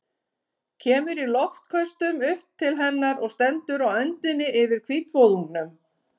Kemur í loftköstum upp til hennar og stendur á öndinni yfir hvítvoðungnum.